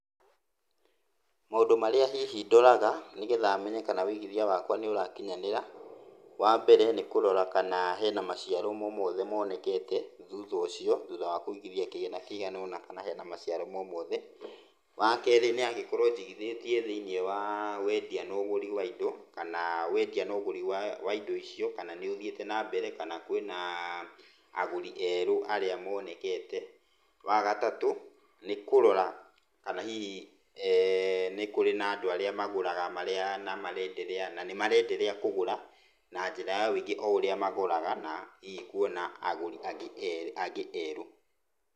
Maũndũ marĩa hihi ndoraga nĩgetha menye hihi kana ũigithia wakwa ni ũrakinyanĩra, wambere nĩ kũrora kana hena maciaro momothe monĩkete thutha ucio, thutha wa kũigithia kĩgĩna kĩigana ũna kana hena maciaro momothe. Wa kerĩ nĩ angĩkorwo njigithĩtie thĩinĩ wa wendia na ũgũri wa indo, kana wendia na ũgũri wa indo icio kana nĩ ũthiĩte na mbere kana kwĩna agũri erũ arĩa monekete. Wa gatatũ nĩ kũrora kana hihi nĩ kũrĩ na andũ arĩa magũraga marĩa na nĩmarenderea kũgũra na njĩra ya ũingĩ o ũrĩa magũraga na hihi kuona agũri angĩ erũ.